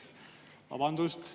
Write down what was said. Vabandust!